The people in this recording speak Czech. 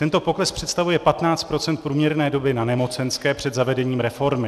Tento pokles představuje 15 % průměrné doby na nemocenské před zavedením reformy.